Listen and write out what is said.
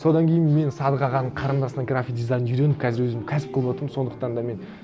содан кейін мен садық ағаның қарындасынан график дизайнды үйреніп қазір өзім кәсіп қылып отырмын сондықтан да мен